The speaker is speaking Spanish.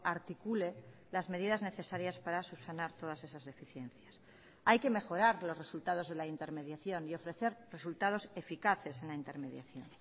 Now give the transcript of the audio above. articule las medidas necesarias para subsanar todas esas deficiencias hay que mejorar los resultados de la intermediación y ofrecer resultados eficaces en la intermediación